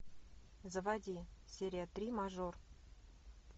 заводи серия три мажор